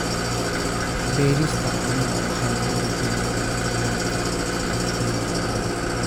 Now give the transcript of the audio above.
Beerista caanaha waxay dhiirigelisaa isticmaalka dhaqamada waara.